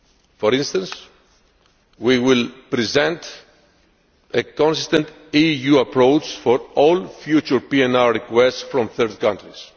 For instance, we will present a consistent EU approach for all future PNR requests from third countries.